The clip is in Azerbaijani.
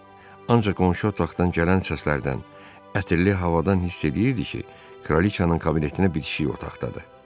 Ancaq qonşu otaqdan gələn səslərdən, ətirli havadan hiss eləyirdi ki, kraliçanın kabinetinə bitişik otaqdadır.